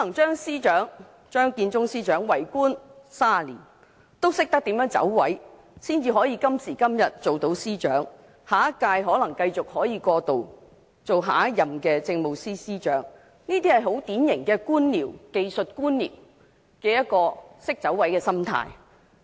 張建宗司長為官30年，可能都懂得怎樣"走位"，所以今時今日才可以擔任司長，亦可能可以過渡至下屆政府繼續擔任政務司司長，這是典型技術官僚一種懂得"走位"的心態。